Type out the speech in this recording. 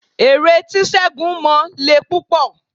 Ère tí ségun mọ le púpọ̀